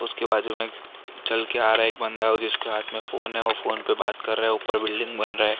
उसके बाजू में चल के आ रहा एक बंदा वो जिसके हाथ में फोन है वो फोन पे बात कर रहा है ऊपर बिल्डिंग बन रहा है।